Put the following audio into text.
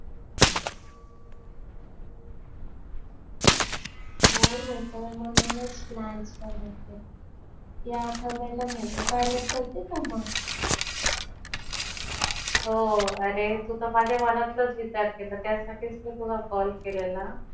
Bore होतय म्हणूनच plan करतेय. ह्या आठवड्याला movie पाहायला चालातेका मग? अरे तू तर माझ्या मनातलाचं विचार केला. त्यासाठीचं मी तुला काल केलेला